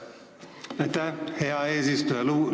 Aitäh, hea eesistuja!